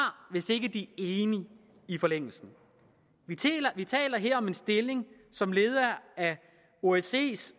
hvis ikke de enige i forlængelsen vi taler her om en stilling som leder af osces